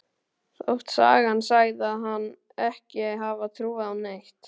Þótt sagan segði hana ekki hafa trúað á neitt.